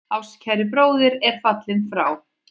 Ástkær bróðir er fallinn frá.